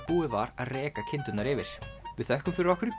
búið var að reka kindurnar yfir við þökkum fyrir okkur